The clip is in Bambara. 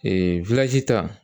Ee ta